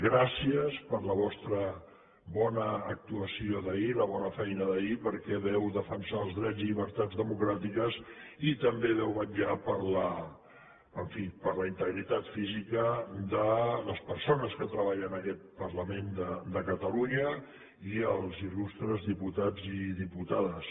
gràcies per la vostra bona actuació d’ahir la bona feina d’ahir perquè vau defensar els drets i les llibertats democràtics i també vau vetllar en fi per la integritat física de les persones que treballen en aquest parlament de catalunya i els il·lustres diputats i diputades